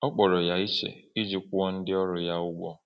Ọ kpọrọ ya iche iji kwụọ ndị ọrụ ya ụgwọ.